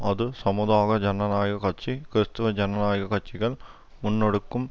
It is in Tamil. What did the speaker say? அது சமூக ஜனநாயக கட்சி கிறிஸ்தவ ஜனநாயக கட்சிகள் முன்னெடுக்கும்